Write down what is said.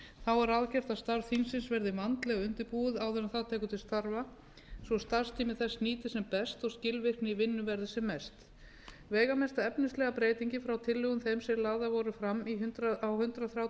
er ráðgert að starf þingsins verði vandlega undirbúið áður en það tekur til starfa svo starfstími þess nýtist sem best og skilvirkni í vinnu verði sem mest veigamesta efnislega breytingin frá tillögum þeim sem lagðar voru fram á hundrað þrítugasta og sjötta